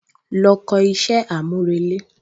Lọ kọ iṣẹ́ àmúrelé